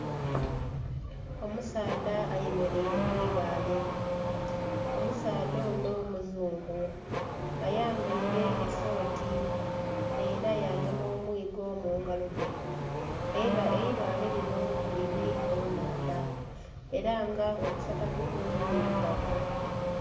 Omusaadha ayemeraire kwiibaale, omusaadha ono muzungu ayambaire esooti era yagema omwiigo mungalo dhe eibaale lino liri munhandha era nga obusapatubwe bwiirugavu.